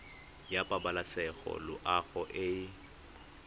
ya pabalesego loago e e